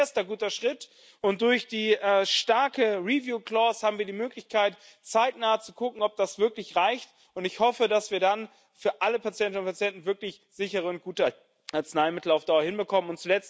Das ist ein erster guter Schritt, und durch die starke review clause haben wir die Möglichkeit, zeitnah zu gucken, ob das wirklich reicht. Ich hoffe, dass wir dann für alle Patientinnen und Patienten wirklich sichere und gute Arzneimittel auf Dauer hinbekommen.